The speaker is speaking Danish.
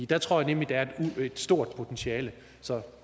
der tror jeg nemlig der er et stort potentiale så